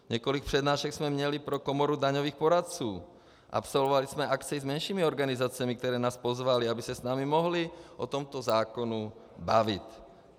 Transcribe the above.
Několik přednášek jsme měli pro komoru daňových poradců, absolvovali jsme akci s menšími organizacemi, které nás pozvaly, aby se s námi mohly o tomto zákonu bavit.